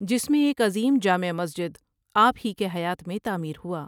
جس میں ایک عظیم جامع مسجد آپ هي کے حیات میں تعمیر هوا ۔